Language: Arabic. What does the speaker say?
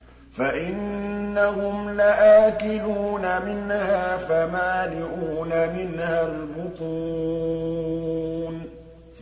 فَإِنَّهُمْ لَآكِلُونَ مِنْهَا فَمَالِئُونَ مِنْهَا الْبُطُونَ